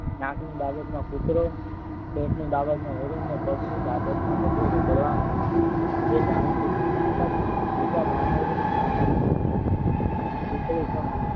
નાકની બાબતના કૂતરો પેટ ની બાબત માં વરુણને ને પગ ની બાબતમાં ગધેડો બળવાન હોય છે. તે જાણી શકે છે એમજ બીજા જાનવરો પણ